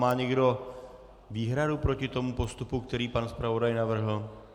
Má někdo výhradu proti tomu postupu, který pan zpravodaj navrhl?